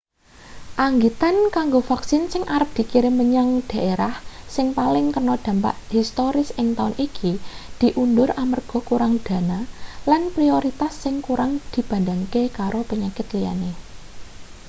anggitan kanggo vaksin sing arep dikirim menyang dhaerah sing paling kena dampak historis ing taun iki diundur amarga kurang dana lan prioritas sing kurang dibandhingake karo penyakit liyane